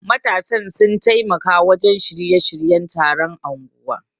Matasan sun taimaka wajen shirya-shiryen taron unguwar.